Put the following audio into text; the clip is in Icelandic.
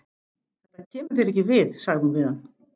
Þetta kemur þér ekki við, sagði hún við hann.